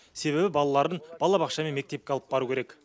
себебі балаларын балабақша мен мектепке алып бару керек